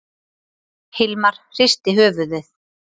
Hilmar hristi höfuðið.